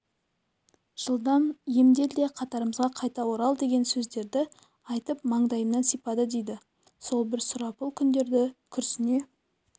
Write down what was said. жылдам емдел де қатарымызға қайта орал деген сөздерді айтып маңдайымнан сипады дейді сол бір сұрапыл күндерді күрсіне